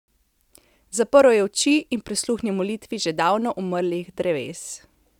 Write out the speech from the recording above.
Zaprl je oči in prisluhnil molitvi že davno umrlih dreves.